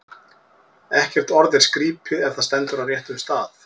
Ekkert orð er skrípi, ef það stendur á réttum stað.